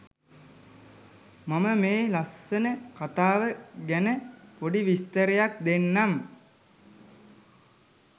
මම මේ ලස්සන කතාව ගැන පොඩි විස්තරයක් දෙන්නම්